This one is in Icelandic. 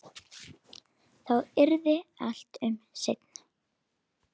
Þá yrði allt um seinan.